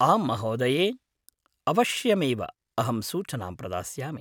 आम्महोदये! अवश्यमेव अहं सूचनां प्रदास्यामि।